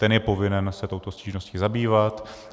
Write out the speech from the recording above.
Ten je povinen se touto stížností zabývat.